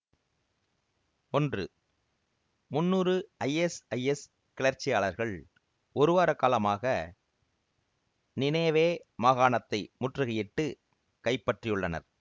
ஒன்று முன்னூறு ஐஎஸ்ஐஎஸ் கிளர்ச்சியாளர்கள் ஒரு வார காலமாக நினேவே மாகாணத்தை முற்றிகையிட்டு கைப்பற்றியுள்ளனர்